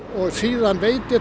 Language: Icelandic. síðan veit ég